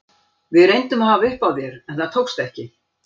Við reyndum að hafa upp á þér en það tókst ekki.